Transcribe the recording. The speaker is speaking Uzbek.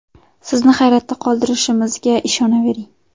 Sizni hayratda qoldirishimizga ishonavering.